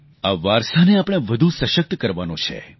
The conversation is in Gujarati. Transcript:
આ વારસાને આપણે વધુ સશક્ત કરવાનો છે